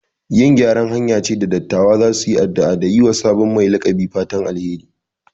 Yin gyaran hanya ce da dattawa za su yi addu'a da yi wa sabon mai laƙabi fatan alheri.